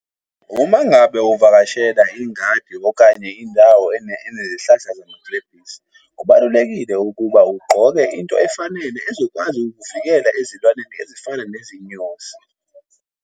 Uma ngabe uvakashela ingadi okanye indawo eney'hlahla zamagilebhisi, kubalulekile ukuba ugqoke into efanele ezokwazi ukuvikela ezilwaneni ezifana nezinyosi.